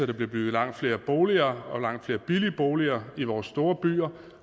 der bliver bygget langt flere boliger og langt flere billige boliger i vores store byer